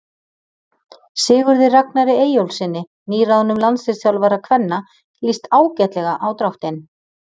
Sigurði Ragnari Eyjólfssyni nýráðnum landsliðsþjálfara kvenna lýst ágætlega á dráttinn.